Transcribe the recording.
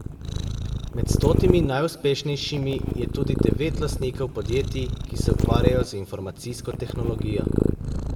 Med stotimi najuspešnejšimi je tudi devet lastnikov podjetij, ki se ukvarjajo z informacijsko tehnologijo.